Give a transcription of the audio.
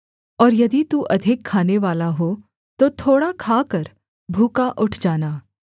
और यदि तू अधिक खानेवाला हो तो थोड़ा खाकर भूखा उठ जाना